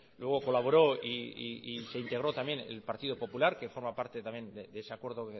luego colaboró y se integró también el partido popular que forma parte también de ese acuerdo